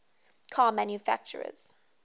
car manufacturers